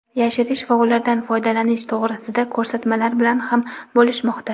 yashirish va ulardan foydalanish to‘g‘risida ko‘rsatmalar bilan ham bo‘lishmoqda.